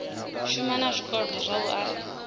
shuma na zwikolodo zwavho arali